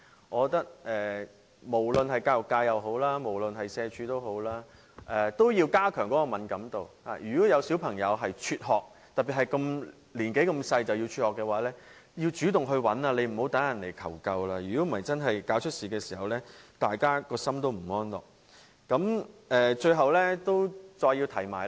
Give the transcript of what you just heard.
我覺得無論是教育界或社會福利署，也要加強敏感度，如果發現有小朋友輟學，特別是這麼年幼便輟學，便要主動查找，而不是要等人來求救，否則發生意外時，大家良心也會感到不安。